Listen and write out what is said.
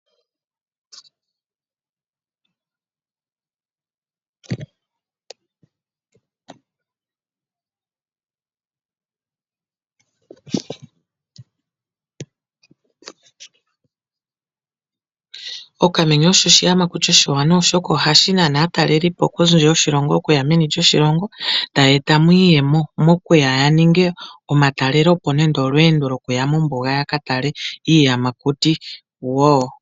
Okamenye oko oshiyamakuti oshiwanawa oshoka, ohashi nana aatalelipo kondje yoshilongo, okuya meni lyoshilongo, tayeeta mo iiyemo, mokuya yaninge omatelelepo nenge olweendo lwokuya mombuga yaka tale iiyamakuti.